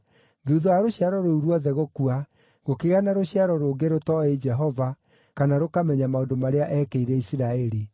Thuutha wa rũciaro rũu ruothe gũkua, gũkĩgĩa na rũciaro rũngĩ rũtooĩ Jehova kana rũkamenya maũndũ marĩa eekĩire Isiraeli.